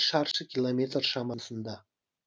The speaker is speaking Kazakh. шаршы километр шамасында